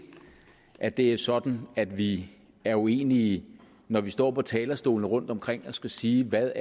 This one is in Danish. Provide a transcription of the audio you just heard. at det er sådan at vi er uenige når vi står på talerstolene rundtomkring og skal sige hvad